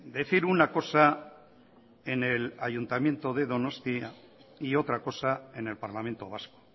decir una cosa en el ayuntamiento de donostia y otra cosa en el parlamento vasco